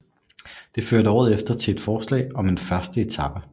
Det førte året efter til et forslag om en første etape